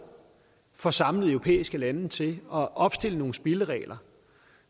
får samlet europæiske lande til at opstille nogle spilleregler